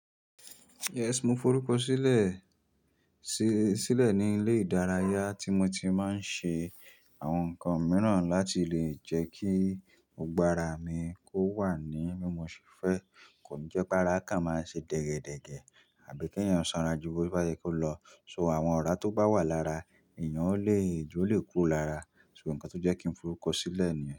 Yes, mo forúkọ sílẹ̀, sí, sílẹ̀ ní ilé ìdárayá tí mo ti máa ń ṣe àwọn nǹkan mìíràn láti lè jẹ́ kí gbogbo àrá mi kó wà ní bi mo ṣẹ́ fẹ́. Kò jẹ́ pé ara kan máa ń ṣe dẹ́gẹ́dẹ́gẹ́ àbí kí èèyàn sanrajù bó bá yẹ kó lọ. So àwọn ọ̀rá tó bá wà lára, èèyàn ó lè, ijó lè kúrò lára. So nǹkan tó jẹ́ kí n forúkọ sílẹ̀ nìyẹn.